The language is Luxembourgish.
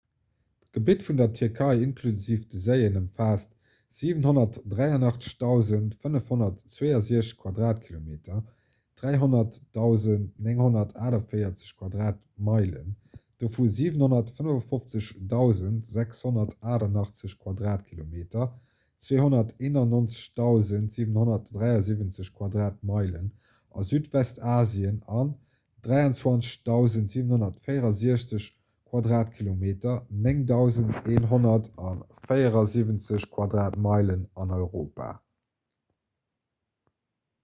d'gebitt vun der tierkei inklusiv de séien ëmfaasst 783 562 quadratkilometer 300 948 quadratmeilen dovu 755 688 quadratkilometer 291 773 quadratmeilen a südwestasien an 23 764 quadratkilometer 9 174 quadratmeilen an europa